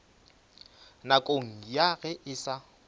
nakong ya ge e sa